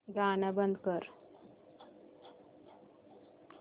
गाणं बंद कर